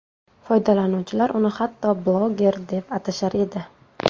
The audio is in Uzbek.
Foydalanuvchilar uni hatto bloger deb atashar edi.